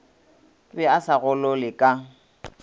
be a sa golole ka